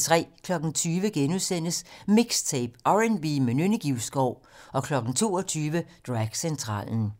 20:00: MIXTAPE - R&B med Nynne Givskov * 22:00: Dragcentralen